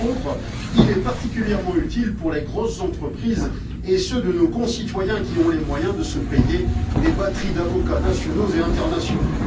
Par contre, il est particulièrement utile pour les grosses entreprises et ceux de nos concitoyens qui ont les moyens de se payer des batteries d'avocats nationaux et internationaux.